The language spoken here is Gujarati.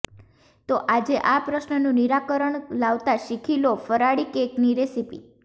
તો આજે આ પ્રશ્નનું નિરકરણ લાવતા શીખી લો ફરાળી કેકની રેસિપી